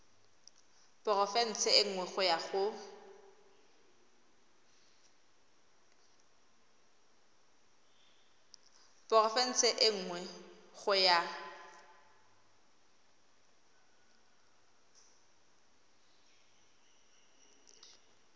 porofense e nngwe go ya